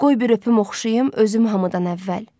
Qoy bir öpüm oxşayım özüm hamıdan əvvəl.